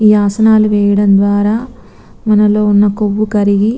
ఈ ఆసనాలు వేయడం ద్వార మనలో వున్నా కొవ్వు కరిగి--